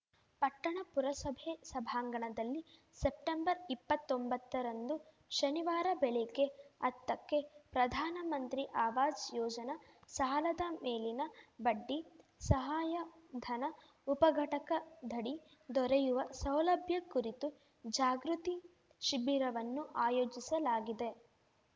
ಪಟ್ಟಣ ಪುರಸಭೆ ಸಭಾಂಗಣದಲ್ಲಿ ಸೆಪ್ಟೆಂಬರ್ ಇಪ್ಪತ್ತೊಂಬತ್ತರಂದು ಶನಿವಾರ ಬೆಳಿಗ್ಗೆ ಹತ್ತಕ್ಕೆ ಪ್ರಧಾನಮಂತ್ರಿ ಆವಾಜ್‌ ಯೋಜನ ಸಾಲದ ಮೇಲಿನ ಬಡ್ಡಿ ಸಹಾಯಧನ ಉಪಘಟಕದಡಿ ದೊರೆಯುವ ಸೌಲಭ್ಯ ಕುರಿತು ಜಾಗೃತಿ ಶಿಬಿರವನ್ನು ಆಯೋಜಿಸಲಾಗಿದೆ